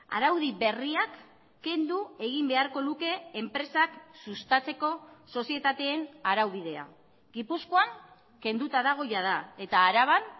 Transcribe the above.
araudi berriak kendu egin beharko luke enpresak sustatzeko sozietateen araubidea gipuzkoan kenduta dago jada eta araban